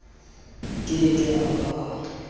ke ke a ba a